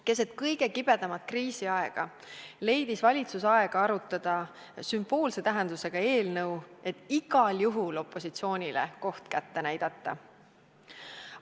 Keset kõige kibedamat kriisiaega leidis valitsus aega arutada sümboolse tähendusega eelnõu, et igal juhul opositsioonile koht kätte näidata.